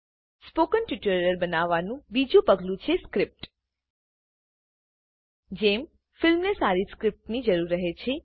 spoken tutorial બનાવવાનું 2જું પગલું છે સ્ક્રીપ્ટ જેમ ફિલ્મને સારી સ્ક્રીપ્ટની જરૂર રહે છે